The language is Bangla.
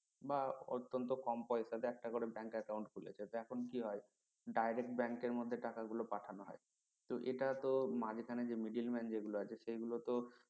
বা অত্যন্ত কম পেশাতে একটা করে bank account খুলেছে তো এখন কি হয় direct bank মধ্যে টাকা গুলো পাঠানো হয় তো এটা তো মাঝখানে যে middle man আছে সেগুলো তো